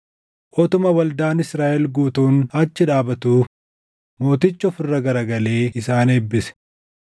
Utuma waldaan Israaʼel guutuun achi dhaabatuu mootichi of irra garagalee isaan eebbise.